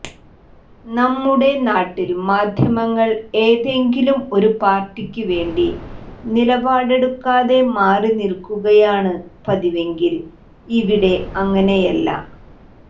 നമ്മുടെ നാട്ടിൽ മാദ്ധ്യമങ്ങൾ ഏതെങ്കിലും ഒരു പാർട്ടിക്ക് വേണ്ടി നിലപാടെടുക്കാതെ മാറി നിൽക്കുകയാണ് പതിവെങ്കിൽ ഇവിടെ അങ്ങനെയല്ല